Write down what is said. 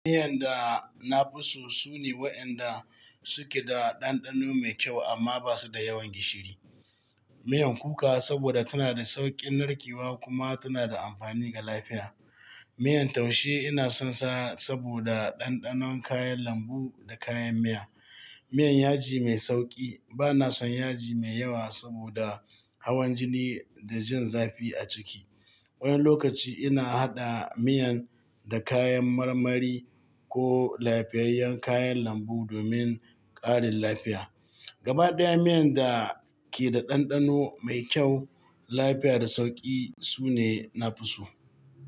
Miyan da na fi so su ne waɗanda suke da ɗanɗano mai kyau amma ba su da yawan gishiri. Miyar kuka saboda tana da sauƙin narkewa kuma tana da amfani ga lafiya. Miyar taushe ina son sa saboda ɗanɗanon kayan lambu da kayan miya. Miyar yaji mai sauƙi, ba na son yaji mai yawa saboda hawan jini da jin zafi a ciki. Wani lokaci ina haɗa miyan da kayan marmari ko lafiyayyen kayan lambu domin ƙarin lafiya. Gaba ɗaya miyan da ke da ɗanɗano mai kyau, lafiya da sauƙi su ne na fi so.